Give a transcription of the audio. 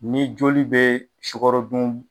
Ni joli bɛ sukarodun